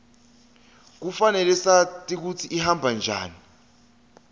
kufanele sati kutsi ihamba njani